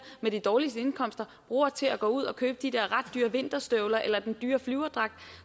med de dårligste indkomster bruger til at gå ud at købe de der ret dyre vinterstøvler eller den dyre flyverdragt